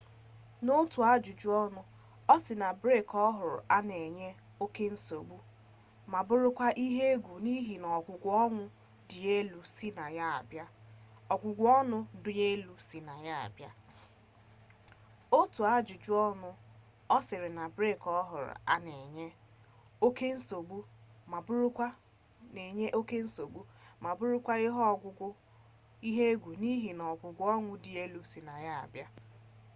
n'otu ajụjụ ọnụ ọ sị na bke ọhụrụ a na enye oke nsogbu ma bụrụkwa ihe egwu n'ihi ogugo ọnwụ dị elu si na ya abịa